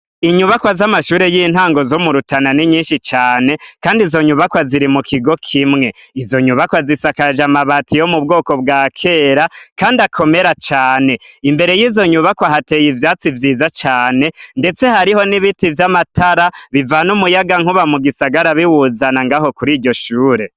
Inyubakwa z'amashuri y'intango zo mu Rutana ni nyinshi cane. Kandi izo nyubakwa ziri mu kigo kimwe. Izo nyubakwa zisakaje amabati yo mu bwoko bwa kera kandi akomera cane. Imbere y'izo nyubakwa hateye ivyatsi vyiza cane, ndetse hariho n'ibiti vy'amatara bivana umunyagankuba mu gisagara biwuzana ngaho kuri iryo shure.